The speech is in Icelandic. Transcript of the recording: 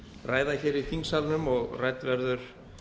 ræða í þingsalnum og rædd verður